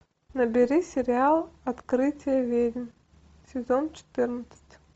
набери сериал открытие ведьм сезон четырнадцать